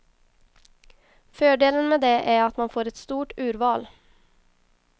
Fördelen med det är att man får ett stort urval.